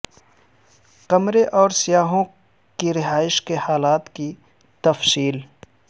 کمرے اور سیاحوں کی رہائش کے حالات کی تفصیل